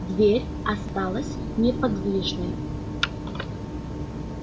дверь осталась неподвижной